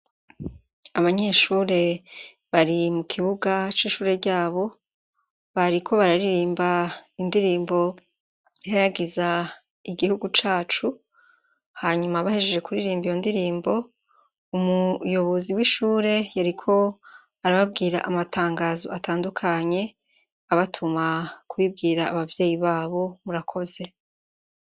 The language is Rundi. Abanyeshure bari mu kibuga c' ishure ryabo bariko bararirimb' indirimb' ihayagiz' igihugu cacu, hanyuma bahejeje kuririmb' iyo ndirimbo, umuyobozi w' ishure yarik' arababwir' amatangaz' atandukany' abatuma kubibwir' abavyeyi babo. Murakoze.